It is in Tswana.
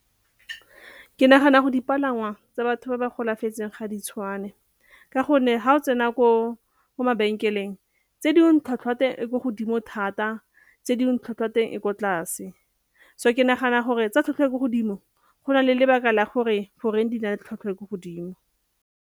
Ke nagana go dipalangwa tsa batho ba ba golafetseng ga di tshwane ka gonne ha o tsena ko mabenkeleng tse dingwe tlhwatlhwa e ko godimo thata tse dingwe tlhwatlhwa ya teng e kwa tlase. So ke nagana gore tsa tlhwatlhwa e e ko godimo go na le lebaka la gore goreng di na le tlhwatlhwa e e ko godimo.